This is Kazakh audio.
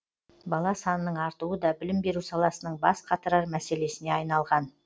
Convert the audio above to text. бала санының артуы да білім беру саласының бас қатырар мәселесіне айналған